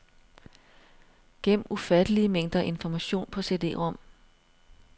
Gem ufattelige mængder information på cd-rom.